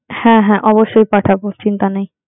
হ্যাঁ, হ্যাঁ, অবশ্যই পাঠাবো চিন্তা নেই।